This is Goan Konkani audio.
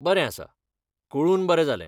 बरें आसा! कळून बरें जालें.